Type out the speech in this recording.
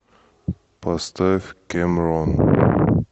поставь кэмрон